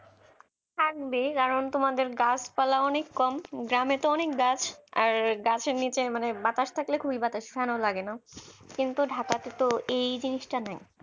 থাকবেই কারণ তোমাদের গাছপালা অনেক কম গ্রামে তো অনেক গাছ আর গাছের নিচে মানে বাতাস থাকলে খুবই বাতাস ফ্যান ও লাগেনা কিন্তু ঢাকাতে তো এই জিনিসটা নাই